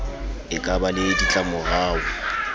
e ka ba le ditlamorao